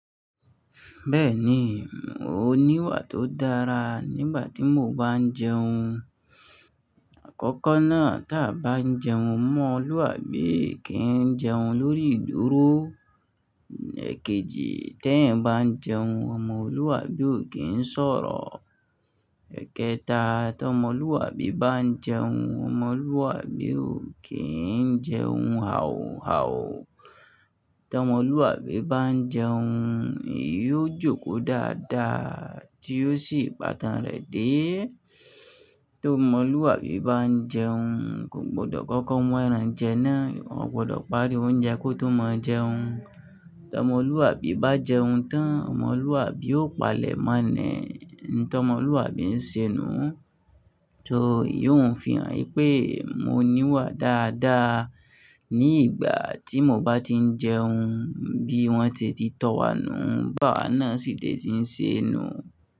Bẹ́ẹ̀ni, mo ní wà tó dára nígbà tí mo bá ń jẹun. Àkọ́kọ́ náà tí a bá ń jẹun, ọmọlúwàbí kì í jẹun lórí ìdúró. Èkejì, tí eyań bá jẹun, ọmọlúwàbí ò kí ń sọ̀rọ̀. Ẹ̀kẹta, tí ọmọlúwàbí bá ń jẹun, ọmọlúwàbí ò kí ń jẹun hauhau. Tí ọmọlúwàbí bá ń jẹun, eyan jókòó dáadáa, tí ó sì pàtàn rẹ̀ dé. Tí ọmọlúwàbí bá ń jẹun, kò gbọdọ̀ koko mu ẹ̀ran jẹ náà, ò gbọdọ̀ pàri oúnjẹ kó tó mọ jẹun. Tí ọmọlúwàbí bá jẹun tán, ọmọlúwàbí ó palẹ̀ mọ́ ni, n tí ọmọlúwàbí ń ṣe inú. Tò, eyiun ń fihan pé mo ní wà dáadáa ní ìgbà tí mo bá tí ń jẹun. Bí wọ́n se tìtọ̀ wá nù, bàá náà sì lè tí ń ṣe inú.